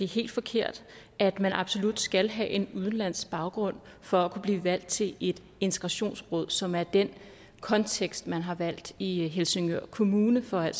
helt forkert at man absolut skal have en udenlandsk baggrund for at kunne blive valgt til et integrationsråd som er den kontekst man har valgt i helsingør kommune for at